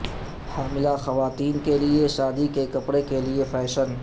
حاملہ خواتین کے لئے شادی کے کپڑے کے لئے فیشن